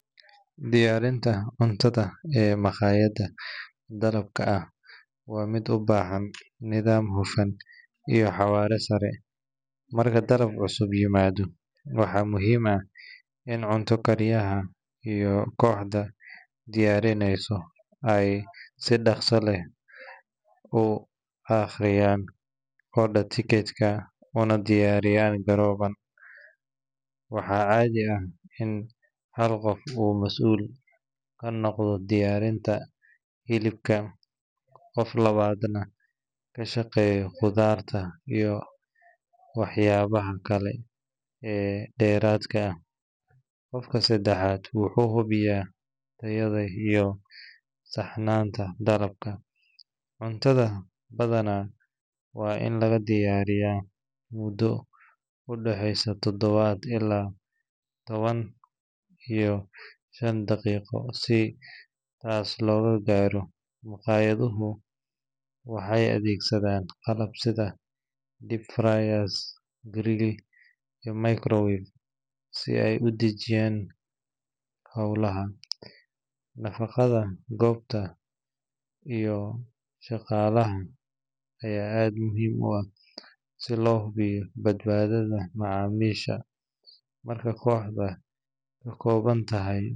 Diyaarinta cuntada ee maqaayadaha dalabka ah waa mid u baahan nidaam hufan iyo xawaare sare. Marka dalab cusub yimaado, waxaa muhiim ah in cunto kariyaha iyo kooxda diyaarinaysa ay si dhakhso leh u akhriyaan order ticket-ka, una diyaar garoobaan. Waxaa caadi ah in hal qof uu mas’uul ka noqdo diyaarinta hilibka, qof labaadna ka shaqeeyo khudaarta iyo waxyaabaha kale ee dheeraadka ah. Qofka saddexaad wuxuu hubiyaa tayada iyo saxnaanta dalabka. Cuntada badanaa waa in lagu diyaariyaa muddo u dhexeysa toban ilaa toban iyo shan daqiiqo. Si taas loo gaaro, maqaayaduhu waxay adeegsadaan qalab sida deep fryer, grill, iyo microwave si ay u dedejiyaan howlaha. Nadaafadda goobta iyo shaqaalaha ayaa aad muhiim u ah si loo hubiyo badbaadada macaamiisha. Marka kooxdu ka kooban tahay saddex.